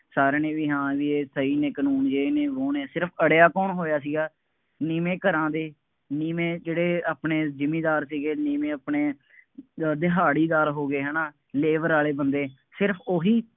ਸਾਰਿਆਂ ਨੇ ਬਈ ਹਾਂ ਇਹ ਸਹੀ ਨੇ ਕਾਨੂੰਨ, ਜੇ ਇਹ ਨਹੀਂ ਹੋਣ, ਸਿਰਫ ਅੜਿਆ ਕੌਣ ਹੋਇਆ ਸੀਗਾ, ਨੀਂਵੇ ਘਰਾਂ ਦੇ ਨੀਵੇ ਜਿਹੜੇ ਅਹ ਆਪਣੇ ਜਿਮੀਂਦਾਰ ਸੀਗੇ, ਨੀਵੇਂ ਆਪਣੇ ਜੋ ਦਿਹਾੜੀਦਾਰ ਹੋ ਗਏ, ਹੈ ਨਾ, labor ਵਾਲੇ ਬੰਦੇ, ਸਿਰਫ ਉਹੀ,